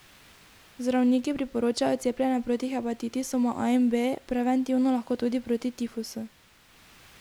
Zdravniki priporočajo cepljenje proti hepatitisoma A in B, preventivno lahko tudi proti tifusu.